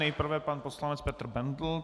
Nejprve pan poslanec Petr Bendl.